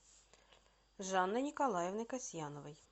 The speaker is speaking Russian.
жанной николаевной касьяновой